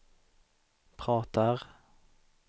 pratar